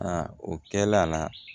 Aa o kɛla